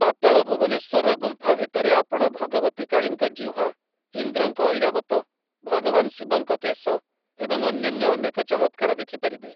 ପାତାଳ ଭୁବନେଶ୍ୱରର ଗୁମ୍ଫା ଭିତରେ ଆପଣ ଭଗବତୀ କାଳୀଙ୍କ ଜିହ୍ୱା, ଇନ୍ଦ୍ରଙ୍କ ଐରାବତ, ଭଗବାନ ଶିବଙ୍କ କେଶ ଏବଂ ଅନ୍ୟାନ୍ୟ ଅନେକ ଚମତ୍କାର ଦେଖିପାରିବେ ।